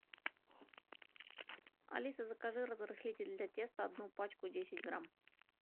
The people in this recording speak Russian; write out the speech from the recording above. алиса закажи разрыхлитель для теста одну пачку десять грамм